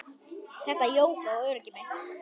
Þetta jók á óöryggi mitt.